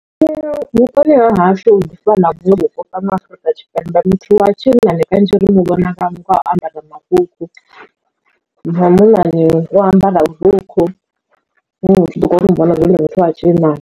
Vhuponi ha hashu u ḓi fana vhuṅwe vhupo fhano Afurika Tshipembe muthu wa tshinnani kanzhi ri muvhona nga u ambara marukhu wa munnani u ambara vhurukhu zwi ḓo kona u vhonala zwori ndi muthu wa tshinnani.